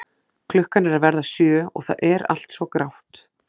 Klukkan er að verða sjö og það er allt svo grátt.